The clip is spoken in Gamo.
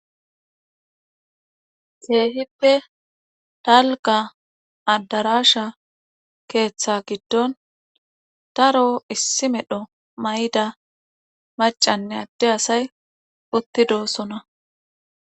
Keehippe dalgga addaraasha keetha giddon daro issi medho mayida maccanne addde asay utti doosona.